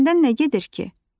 Səndən nə gedir ki?